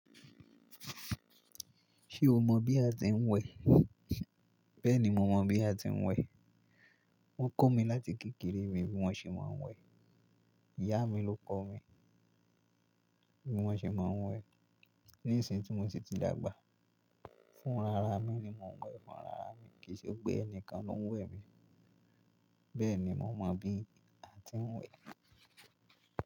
Ṣé o mọ bí a ti ń wẹ? Bẹ́ẹ̀ni, mo mọ bí a ti ń wẹ. Wọ́n kọ́ mi láti kékeré mi bí wọ́n ṣe máa ń wẹ. Ìyá mi ló kọ mi bí wọ́n ṣe máa ń wẹ. Ní ìsìn tí mo si ti dàgbà. Fún rara mí ni mo ń wẹ fún rara mí. Kì í ṣe pé ẹnìkan ló ń wẹ mi. Bẹ́ẹ̀ ni mo mọ bí a ti ń wẹ.